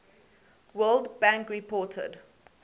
world bank reported